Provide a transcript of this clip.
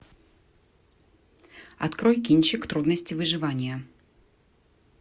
открой кинчик трудности выживания